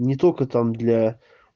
не только там для